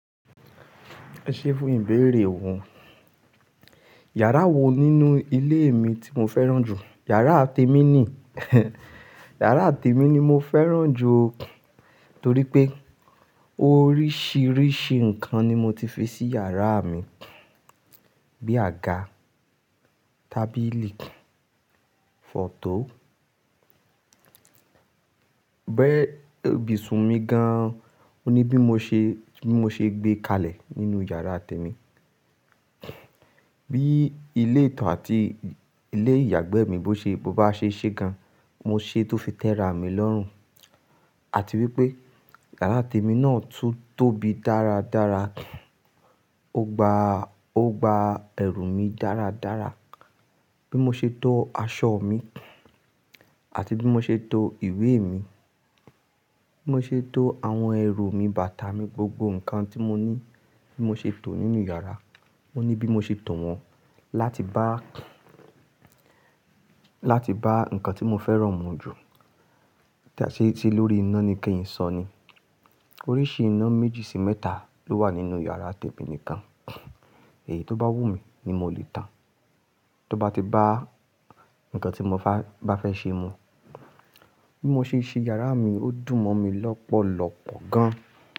Ẹ ṣé fún ìbéèrè òun. Yàrá wo nínú ilé mi tí mo fẹ́ràn jù? Yàrá tèmi ni, yàrá tèmi ni mo fẹ́ràn jù torí pé oríṣiríṣi nǹkan ni mo ti fi sí iyàrá mi. Bí àga, tábìlì, fọ̀to. Ibusun mi gan-an, ó ní bí mo ṣe gbé kalẹ̀ nínú iyàrá tèmi. Bí ilé ìto àti ilé ìyàgbẹ́ mi bi a ṣe ṣe gan, mo ṣe é tó fi tẹ́ra mi lọ́rùn. Àti wípé yàrá tèmi náà tún tóbi dáradára, ó gba ẹrù mi dáradára. Bí mo ṣe tó aṣọ mi àti bí mo ṣe tó ìwé mi, bí mo ṣe tó àwọn ẹrù mi, bàtà mi, gbogbo nǹkan tí mo ní bí mo ṣe tò ó nínú yàrá. Ó ní bí mo ṣe tò wọ́n láti bá, láti bá nǹkan tí mo fẹ́ràn mu jù. Ṣe ti lórí iná ni kí n sọ ni? Oríṣi iná méjì sí mẹ́ta ló wà nínú iyàrá tèmi nìkan. Èyí tó bá wù mí ni mo lè tàn. Tó bá ti bá nǹkan tí mo bá fẹ́ ṣe mu. Bí mo ṣe ṣe yàrá mi, ó dùn mọ́ mi lọ́pọ̀lọ́pọ̀ gan.